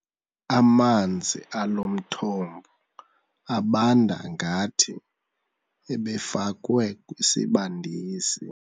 Amanzi alo mthombo abanda ngathi ebefakwe kwisibandisi.